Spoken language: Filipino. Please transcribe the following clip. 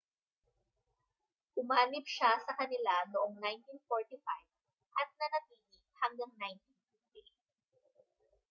umanib siya sa kanila noong 1945 at nanatili hanggang 1958